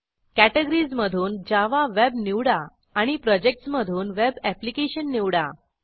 कॅटॅगरीजमधून Java web निवडा आणि projects मधून वेब एप्लिकेशन निवडा